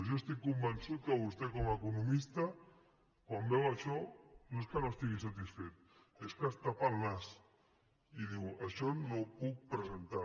jo estic convençut que vostè com a economista quan veu això no és que no estigui satisfet és que es tapa el nas i diu això no ho puc presentar